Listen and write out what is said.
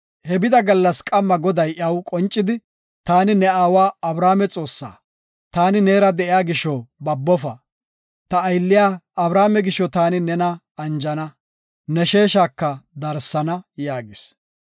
He bida gallas qamma Goday iyaw qoncidi, “Taani ne aawa Abrahaame Xoossa, taani neera de7iya gisho, babofa. Ta aylliya Abrahaame gisho taani nena anjana, ne sheeshaka darsana” yaagis.